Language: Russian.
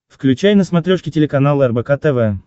включай на смотрешке телеканал рбк тв